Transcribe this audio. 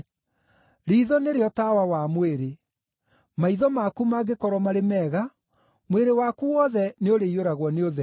“Riitho nĩrĩo tawa wa mwĩrĩ. Maitho maku mangĩkorwo marĩ mega, mwĩrĩ waku wothe nĩũrĩiyũragwo nĩ ũtheri.